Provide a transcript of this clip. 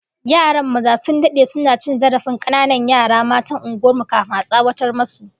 Yaran maza sun dade suna cin zarafin kananan yara matan unguwar mu, kafin a tsawata musu